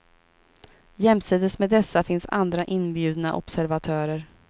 Jämsides med dessa finns andra, inbjudna observatörer.